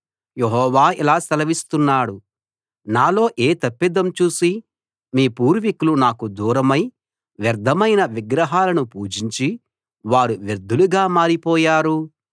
యెహోవా ఇలా సెలవిస్తున్నాడు నాలో ఏ తప్పిదం చూసి మీ పూర్వికులు నాకు దూరమై వ్యర్థమైన విగ్రహాలను పూజించి వారూ వ్యర్థులుగా మారిపోయారు